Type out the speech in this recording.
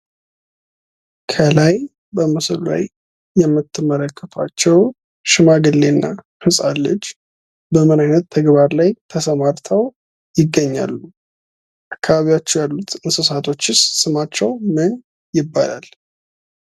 ከላይ በምስሉ ላይ የምትመለከቷቸው ሽማግሌና ህጻን ልጅ በማበራየት ተግባር ላይ ተሰማርተው ይገኛሉ። በአካባቢያቸው ያሉት እንስሳትስ ስማቸው ምን ይባላል?